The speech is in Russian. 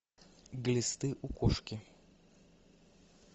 глисты у кошки